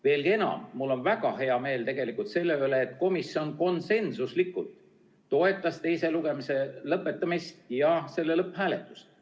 Veelgi enam, mul on väga hea meel tegelikult selle üle, et komisjon konsensuslikult toetas teise lugemise lõpetamist ja selle lõpphääletust.